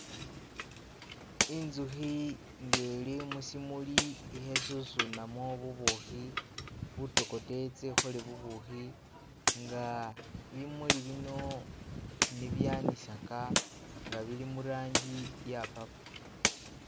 Inzukhi inga ili mushimuli ilikhe susunamo bubukhi butokote itse ikhole bubukhi inga bimuli bino ni byanisaka nga bili murangi iya purple.